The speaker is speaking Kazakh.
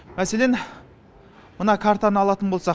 мәселен мына картаны алатын болсақ